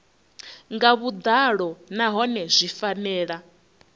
nga vhuḓalo nahone zwi fanela